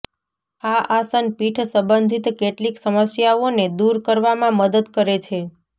આ આસન પીઠ સંબંધિત કેટલીક સમસ્યાઓને દુર કરવામાં મદદ કરે છે